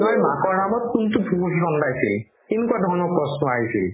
মাকৰ নামত কোনটো তেনেকুৱা ধৰণৰ প্ৰশ্ন আহিছিল